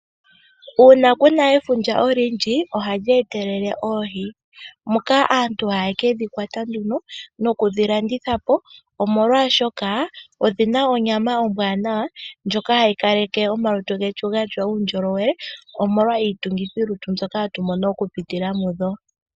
Uuna Kuna efundja olindji, oha li etelele oohi, moka aantu ha ye ke dhi kwata nduno noku dhi landithapo, oshoka onyama ombwanawa ndjoka ha yi ksleke omalutu getu ga tya uundjolowe, omolwa iitungithilutu mbyoka ha tu mono oku pitila mudho.